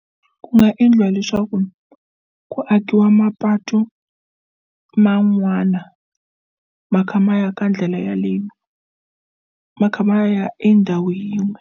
Ku nga endliwa leswaku ku akiwa mapatu man'wana ma kha ma ya ka ndlela yaleyo ma kha ma ya endhawu yin'we.